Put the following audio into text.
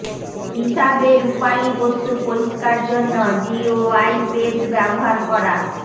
হিসাবে রূপালী বস্তু পরিষ্কার জন্য জিওআই পেস্ট ব্যবহার করা